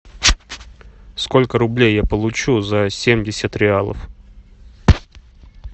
сколько рублей я получу за семьдесят реалов